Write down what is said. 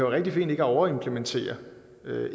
rigtig fint ikke at over implementere